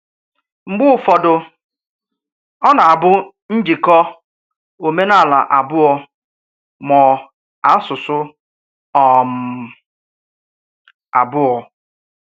M̀gbè ụfọdụ, ọ̀ nà-ábụ̀ njíkò òmènàlà ábụọ̀, mọ asụsụ́ um abụọ